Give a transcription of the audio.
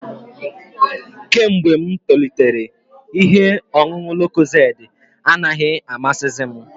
Kemgbe m toritere, ihe ọṅụṅụ lokozedi anaghị amasizi m